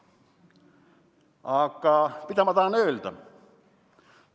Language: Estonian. Aga mida ma tahan öelda?